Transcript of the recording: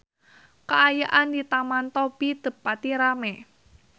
Kaayaan di Taman Topi teu pati rame